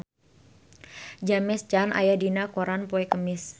James Caan aya dina koran poe Kemis